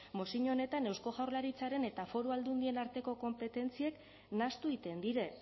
mozio honetan eusko jaurlaritzaren eta foru aldundien arteko konpetentziak nahastu egiten dira